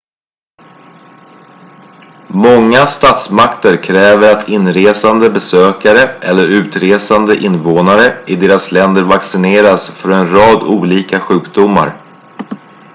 många statsmakter kräver att inresande besökare eller utresande invånare i deras länder vaccineras för en rad olika sjukdomar